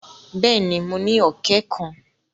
Bẹ́ẹ̀ ni, mo ní ọ̀kẹ́ kan.